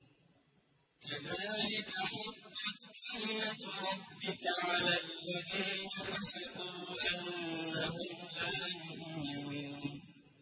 كَذَٰلِكَ حَقَّتْ كَلِمَتُ رَبِّكَ عَلَى الَّذِينَ فَسَقُوا أَنَّهُمْ لَا يُؤْمِنُونَ